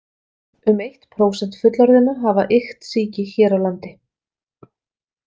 Um eitt prósent fullorðinna hafa iktsýki hér á landi.